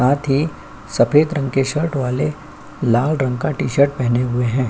साथ ही सफेद रंग की शर्ट वाले लाल रंग का टी-शर्ट पहने हुए है।